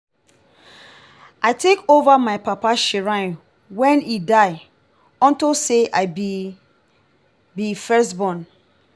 i take over my papa shrine wen he die unto say i be first be first born